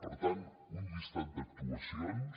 per tant una llista d’actuacions